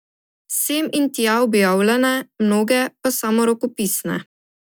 Sem in tja objavljene, mnoge pa samo rokopisne.